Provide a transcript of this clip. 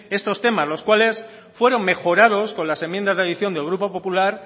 estos temas los cuales fueron mejorados con las enmiendas de adición del grupo popular